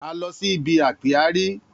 A lọ si ibi ápíárì